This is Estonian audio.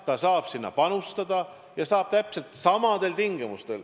Ta saab sinna panustada, ja täpselt samadel tingimustel.